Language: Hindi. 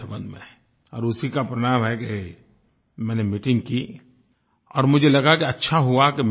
और उसी का परिणाम है कि मैंने मीटिंग की और मुझे लगा कि अच्छा हुआ कि मैं मिला